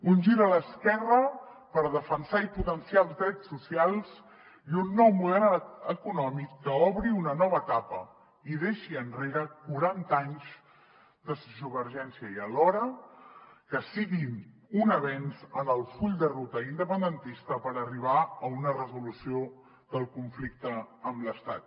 un gir a l’esquerra per defensar i potenciar els drets socials i un nou model econòmic que obri una nova etapa i deixi enrere quaranta anys de sociovergència i alhora que sigui un avenç en el full de ruta independentista per arribar a una resolució del conflicte amb l’estat